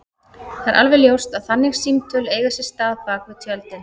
Það er alveg ljóst að þannig símtöl eiga sér stað bak við tjöldin.